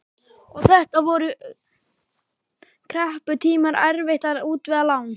Og þetta voru krepputímar, erfitt að útvega lán.